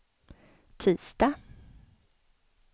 tisdag